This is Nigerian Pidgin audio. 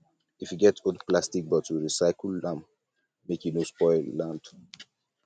if you get old plastic bottle recycle am make e no spoil land